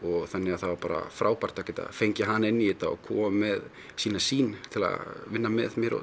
þannig að það var frábært að geta fengið hana inn í þetta og komið með sína sýn til að vinna með mér og